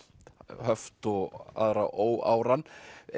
höft og aðra óáran